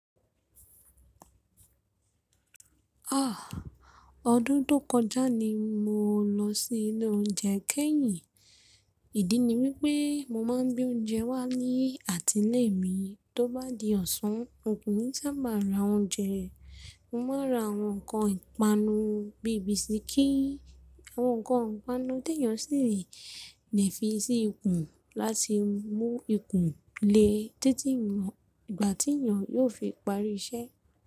Ah! Ọdún tó kọjá ni mo lọ sí ilé oúnjẹ kẹ́yìn. Ìdí ni wípé mo máa ń gbe oúnjẹ wá ní àtí ile mi. Tó bá di ọ̀sán, òkúnrin sáabà ra oúnjẹ. Mo máa ń ra àwọn nkan ìpanu bí i bisikí, àwọn ǹkan ìpanu téèyàn sì lè fi sí ikùn láti mú ikùn le títí ìgbà tí èèyàn yóò fi parí iṣẹ́.